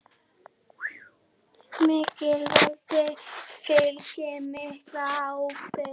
Miklu valdi fylgir mikil ábyrgð.